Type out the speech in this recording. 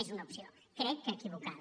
és una opció crec que equivocada